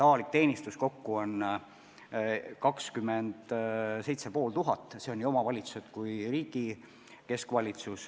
Avalikus teenistuses kokku on 27 500 inimest, see on kokku omavalitsused ja ka riigi keskvalitsus.